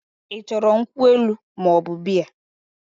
I choro nkwu elu moobu Bea?